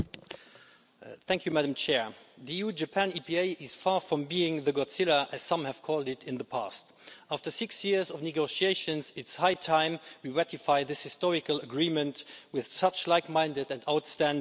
Madam President, the EU Japan EPA is far from being Godzilla, as some have called it in the past. After six years of negotiations, it's high time we ratified this historical agreement with such a like minded and outstanding partner.